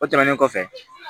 O tɛmɛnen kɔfɛ